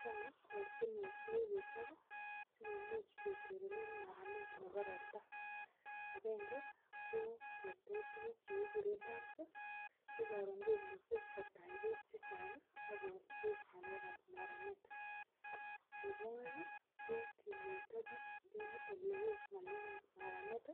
chang ortinwek che kikechob si kimuch keterter maranet nebo ropta, agenge kokeech tuguk che kikuren dams neumuche kotach beek chechang agobos ngalek kab maranet. nebo aeng ko kimweta biik eng ole oo ngalek kab maranet